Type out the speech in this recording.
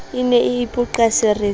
e ne e ipoqa seretseng